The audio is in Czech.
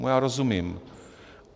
Tomu já rozumím.